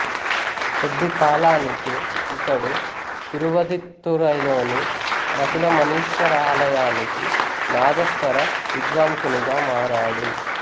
కొద్ది కాలానికే ఇతడు తిరువదిత్తురైలోని మసిలమణీశ్వర ఆలయానికి నాదస్వర విద్వాంసునిగా మారాడు